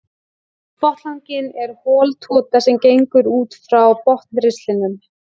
Botnlanginn er hol tota sem gengur út frá botnristlinum.